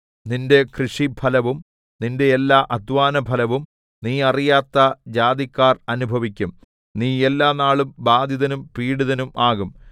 നിന്റെ കൃഷിഫലവും നിന്റെ എല്ലാ അദ്ധ്വാനഫലവും നീ അറിയാത്ത ജാതിക്കാർ അനുഭവിക്കും നീ എല്ലാനാളും ബാധിതനും പീഡിതനും ആകും